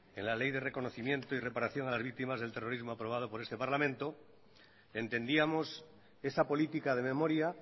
en la ley de reconocimiento y reparación de las víctimas del terrorismo aprobado por este parlamento entendíamos esa política de memoria